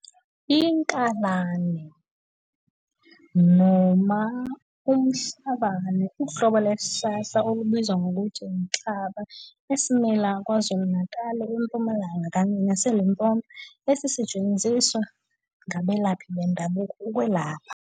Inkalane, ILatin- Aloe arborescens. noma umhlabane uhlobo lwesihlahla olubizwa ngokuthi inhlaba esimila kwaZulu-Natali, eMpumalanga kanye nase Limpopo esisetshenziswa ngabalephi bendabuko ukwelapha.